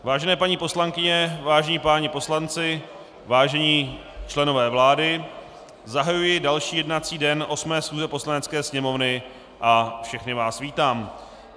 Vážené paní poslankyně, vážení páni poslanci, vážení členové vlády, zahajuji další jednací den 8. schůze Poslanecké sněmovny a všechny vás vítám.